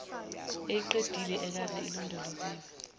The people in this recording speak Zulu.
eyeqile ekade ilondoloziwe